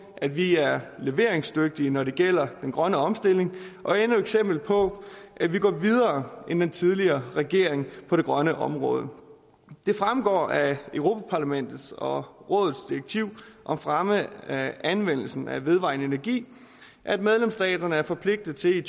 at vi er leveringsdygtige når det gælder den grønne omstilling og endnu et eksempel på at vi går videre end den tidligere regering på det grønne område det fremgår af europa parlamentet og rådets direktiv om fremme af anvendelsen af vedvarende energi at medlemsstaterne er forpligtet til i